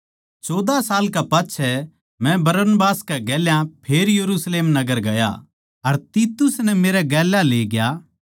चौदहा साल कै पाच्छै मै बरनबास के गेल्या फेर यरुशलेम नगर म्ह ग्या अर तीतुस नै भी गेल्या लेग्या